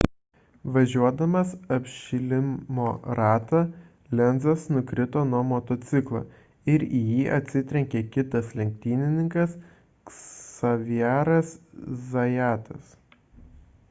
važiuodamas apšilimo ratą lenzas nukrito nuo motociklo ir į jį atsitrenkė kitas lenktynininkas xavieras zayatas